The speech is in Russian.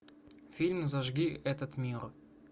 фильм зажги этот мир